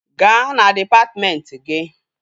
Gaa na dịpatmentị gị!